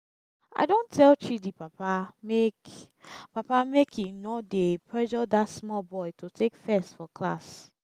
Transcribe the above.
i don tell chidi papa make papa make im no dey pressure dat small boy to take first for class